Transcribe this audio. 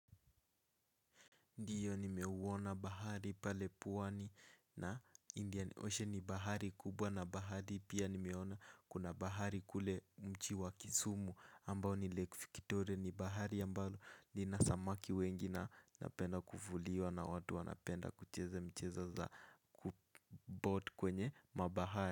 Ndiyo nimeuona bahari pale pwani na indian ocean ni bahari kubwa na bahari pia nimeona kuna bahari kule mchi wa kisumu ambao ni Lake Victoria ni bahari ambalo linasamaki wengi na napenda kuvuliwa na watu wanapenda kucheza michezo za kuboat kwenye mabahari.